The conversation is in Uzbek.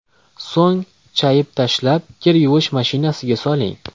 So‘ng chayib tashlab, kir yuvish mashinasiga soling.